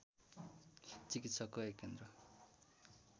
चिकित्साको एक केन्द्र